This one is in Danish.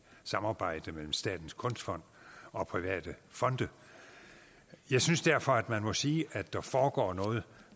samarbejde mellem statens kunstfond og private fonde jeg synes derfor at man må sige at der foregår noget